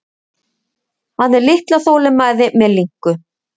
Hafði litla þolinmæði með linku.